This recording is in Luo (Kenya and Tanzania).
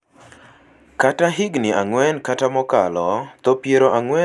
kata higni ang’wen kata mokalo (tho piero ang'wen gi ang'wen kuom nyithindo gana achiel monyuol mangima)